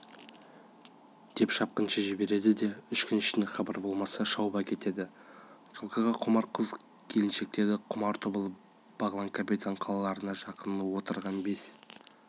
деп шапқыншы жібереді де үш күн ішінде хабар болмаса шауып әкетеді жылқыға құмар қыз-келіншекке құмар тобыл бағлан капитан қалаларына жақын отырған бес